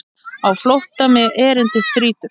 Á flótta mig erindi þrýtur.